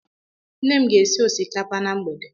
Nne m ga-esi osikapa na mgbede.